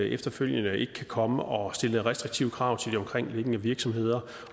efterfølgende ikke kan komme og stille restriktive krav til de omkringliggende virksomheder